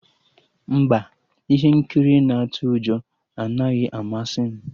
Mba, ihe nkiri na-atụ ụjọ anaghị amasị m